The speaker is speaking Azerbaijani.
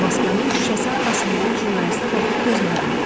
Maskanın şüşəsi arxasından jurnalistə baxıb gözlərini qıydı.